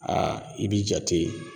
i bi jate